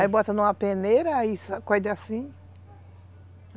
Aí bota numa peneira, aí sacode assim.